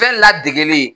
Fɛn ladegelen